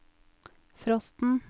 frosten